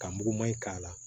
Ka muguman in k'a la